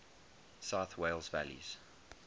south wales valleys